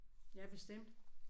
Ja bestemt